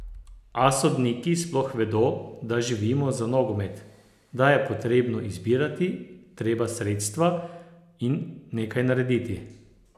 A sodniki sploh vedo, da živimo za nogomet, da je potrebno zbirati treba sredstva in nekaj narediti?